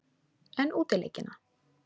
En útileikina?